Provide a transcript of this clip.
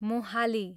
Mohali